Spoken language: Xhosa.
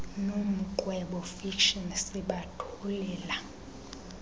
nomqwebo fiction sibathulela